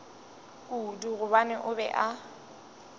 kudu gobane o be a